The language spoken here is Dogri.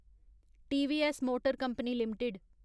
TVS motor company limited